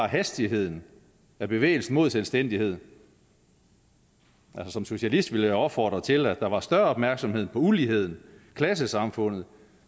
hastigheden af bevægelsen mod selvstændighed som socialist vil jeg opfordre til at der var større opmærksomhed på uligheden klassesamfundet